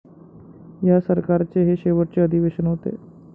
या सरकारचे हे शेवटचे अधिवेशन होते.